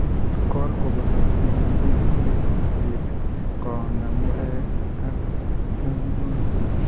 Kool koboto pilipilik sikobiit koonda murek ak pungungonik